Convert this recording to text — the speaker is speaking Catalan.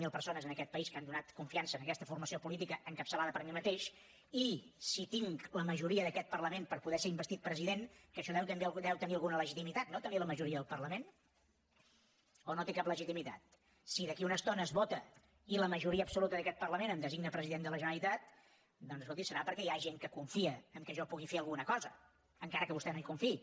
zero persones en aquest país que han donat confiança a aquesta formació política encapçalada per mi mateix i si tinc la majoria d’aquest parlament per poder ser investit president que això també deu tenir alguna legitimitat no tenir la majoria del parlament o no té cap legitimitat si d’aquí a una estona es vota i la majoria absoluta d’aquest parlament em designa president de la generalitat doncs escolti serà perquè hi ha gent que confia que jo pugui fer alguna cosa encara que vostè no hi confiï